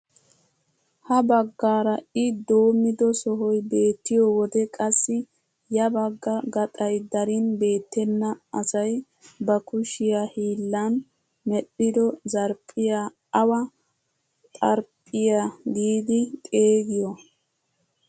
Ha baggaara i doommido sohoy beettiyoo wode qassi ya bagga gaxay darin beettena asay ba kushshiyaa hiillan medhdhido zarphphiyaa awa xarphphiyaa giidi xeegiyoo?